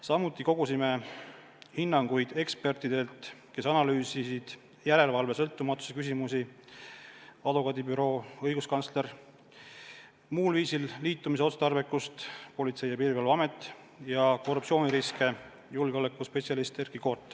Samuti kogusime hinnanguid ekspertidelt, kes analüüsisid järelevalve sõltumatuse küsimusi – advokaadibüroo, õiguskantsler –, muul viisil liitumise otstarbekust ja korruptsiooniriske .